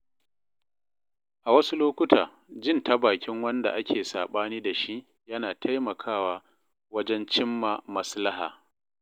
A wasu lokuta, jin ta bakin wanda ake saɓani da shi yana taimakawa wajen cimma maslaha